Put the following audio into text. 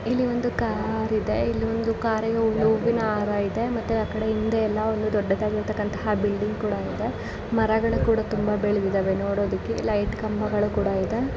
ಇಲ್ಲಿ ಒಂದು ಕಾರಿದೆ ಇಲ್ಲಿ ಕಾರಿನ ಮೇಲೆ ಒಂದು ಹೂವಿನ ಹಾರೈತೆ ಮತ್ತೆ ಹಿಂದಗಡೆ ಎಲ್ಲ ತುಂಬಾ ದೊಡ್ಡದಾದಂತಹ ಬಿಲ್ಡಿಂಗ್ ಕೂಡ ಇದೆ ಮರಗಳು ಕೂಡ ತುಂಬಾ ಬೆಳೆದಿದವೇ ಪ್ಲೇಟ್ ಕಂಬಗಳು ಕೂಡ ಇದೆ.